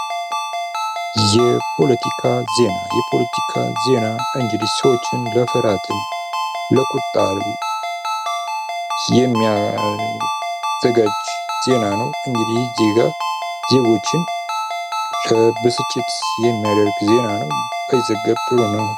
የፖለቲካ ዜና እንኢህ ሰዎችን ለፍርህት ለቁጣ የሚያዘጋጅ ዜና ነው። እንዲህ ዜና ዜጎችን ለብስጭት የሚያደርግ ዜና ነው እንግዲህ በይዝውገብ ጥሩ ነው።